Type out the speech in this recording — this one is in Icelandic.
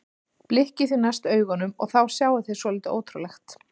Blikkið því næst augunum og þá sjáið þið svolítið ótrúlegt.